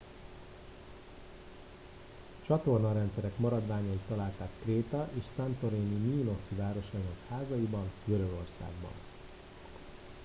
csatornarendszerek maradványait találták kréta és santorini mínoszi városainak házaiban görögországban